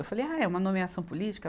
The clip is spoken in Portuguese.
Eu falei, ah, é uma nomeação política?